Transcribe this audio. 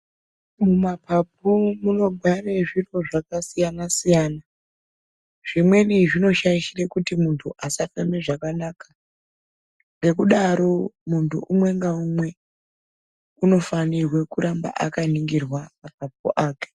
Mumapapu munogara zviro zvakasiyana siyana zvimweni zvinoshaishira kuti muntu asatambe zvakanaka nekudaro muntu umwe ngaumwe anofana kunge achigara akaningirwa mapapu ake.